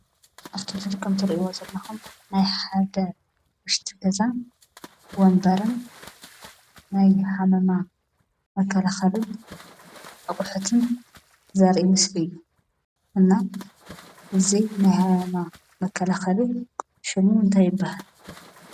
እፍቲ ምሰሊ ከም እትሪኢዎ ዘለኹም ናይ ሓደ ውሽጢ ገዛ ወንበርን ናይ ሃመማ መከላኽሊን አቑሑትን ዘርኢ ምስሊ እዩ፡፡ እና እዚ ናይ ሃመማ መከላኸሊ ሽሙ እንታይ ይበሃል?